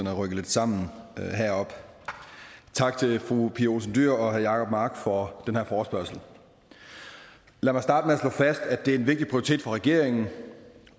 er rykket lidt sammen heroppe tak til fru pia olsen dyhr og herre jacob mark for den her forespørgsel lad mig starte med at slå fast at det er en vigtig prioritet for regeringen